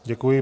Děkuji.